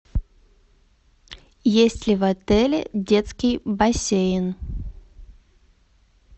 есть ли в отеле детский бассейн